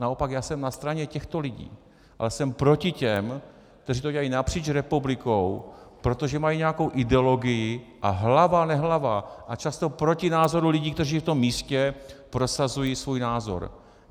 Naopak, já jsem na straně těchto lidí, ale jsem proti těm, kteří to dělají napříč republikou, protože mají nějakou ideologii a hlava nehlava a často proti názoru lidí, kteří v tom místě prosazují svůj názor.